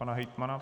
Pan hejtman.